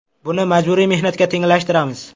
Buni majburiy mehnatga tenglashtiramiz.